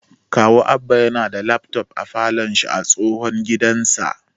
Kawu Abba yana da lafton a falon shi a tsohon gidansa